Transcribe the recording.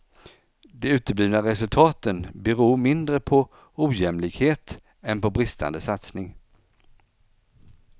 De uteblivna resultaten beror mindre på ojämlikhet än på bristande satsning.